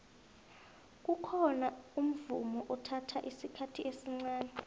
kukhona umvumo ethatha isikhathi esncani